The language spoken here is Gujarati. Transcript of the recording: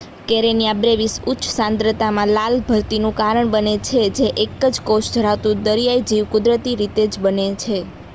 કેરેનીયા બ્રેવિસ ઉચ્ચ સાંદ્રતામાં લાલ ભરતીનું કારણ બને છે જે એક જ કોષ ધરાવતું દરિયાઈ જીવ કુદરતી રીતે જ બને